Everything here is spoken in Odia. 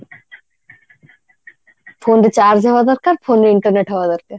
phone ରେ charge ହବା ଦରକାର phone ରେ internet ହବା ଦରକାର